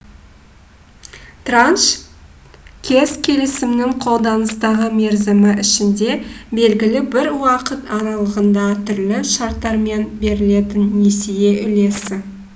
транш қес келісімінің қолданыстағы мерзімі ішінде белгілі бір уақыт аралығында түрлі шарттармен берілетін несие үлесі